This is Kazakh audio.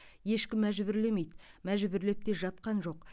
ешкімді мәжбүрлемейді мәжбүрлеп те жатқан жоқ